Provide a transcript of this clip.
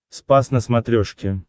спас на смотрешке